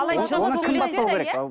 оны кім бастау керек